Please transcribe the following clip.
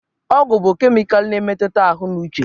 Ọgwụ bụ kemịkalụ na-emetụta ahụ na uche.